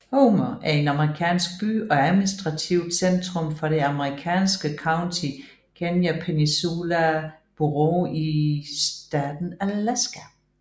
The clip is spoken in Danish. Homer er en amerikansk by og administrativt centrum for det amerikanske county Kenai Peninsula Borough i staten Alaska